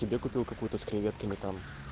тебе купил какой-то с креветками там